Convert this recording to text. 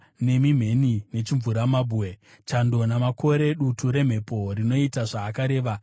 nemi mheni nechimvuramabwe, chando namakore, dutu remhepo rinoita zvaakareva,